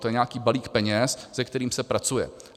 To je nějaký balík peněz, se kterým se pracuje.